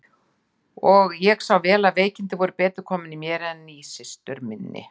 Og ég sá vel að veikindin voru betur komin í mér en í systur minni.